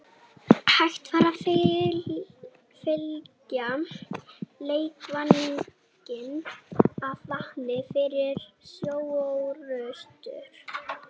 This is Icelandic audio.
Hægt var að fylla leikvanginn af vatni fyrir sjóorrustur.